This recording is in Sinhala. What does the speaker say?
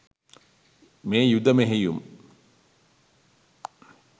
මේ යුධ මෙහෙයුම්